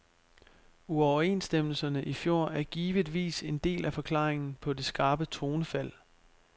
Uoverenstemmelserne i fjor er givetvis en del af forklaringen på det skarpe tonefald.